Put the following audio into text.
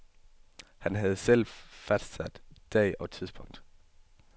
Han havde selv fastsat dag og tidspunkt.